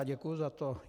A děkuju za to.